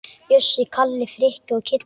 Bjössi, Kalli, Frikki og Kiddi!